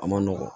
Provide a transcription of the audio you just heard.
A ma nɔgɔ